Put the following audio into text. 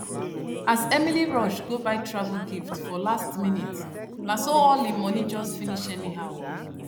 as emily rush go buy travel gift for last minute na so all im money just finish anyhow